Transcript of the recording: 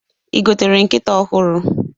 I gotere nkịta ọhụrụ?